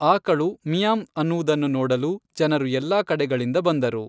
ಆಕಳು 'ಮಿಯಾಂವ್' ಅನ್ನುವುದನ್ನು ನೋಡಲು ಜನರು ಎಲ್ಲಾ ಕಡೆಗಳಿಂದ ಬಂದರು.